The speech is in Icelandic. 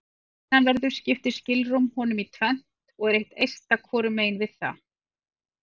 Að innanverðu skiptir skilrúm honum í tvennt og er eitt eista hvorum megin við það.